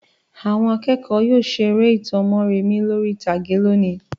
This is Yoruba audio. Àwọn akẹ́kọ̀ọ́ máa yóò seré ìtàn Mórèmí lórí ìtàgé lónìí.